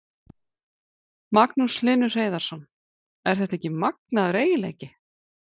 Magnús Hlynur Hreiðarsson: Er þetta ekki magnaður eiginleiki?